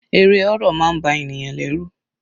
Eré horror máa ń ba ènìyàn lẹ́rù.